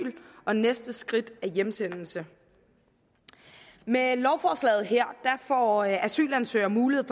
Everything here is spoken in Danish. og at næste skridt er hjemsendelse med lovforslaget her får asylansøgere mulighed